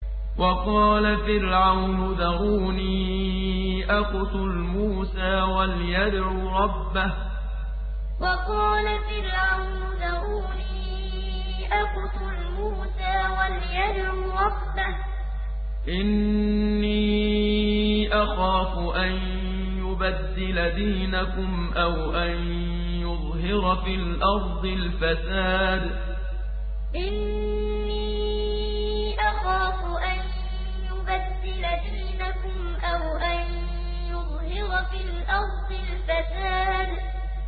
وَقَالَ فِرْعَوْنُ ذَرُونِي أَقْتُلْ مُوسَىٰ وَلْيَدْعُ رَبَّهُ ۖ إِنِّي أَخَافُ أَن يُبَدِّلَ دِينَكُمْ أَوْ أَن يُظْهِرَ فِي الْأَرْضِ الْفَسَادَ وَقَالَ فِرْعَوْنُ ذَرُونِي أَقْتُلْ مُوسَىٰ وَلْيَدْعُ رَبَّهُ ۖ إِنِّي أَخَافُ أَن يُبَدِّلَ دِينَكُمْ أَوْ أَن يُظْهِرَ فِي الْأَرْضِ الْفَسَادَ